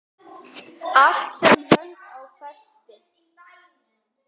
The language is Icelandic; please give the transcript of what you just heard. Allt sem hönd á festi.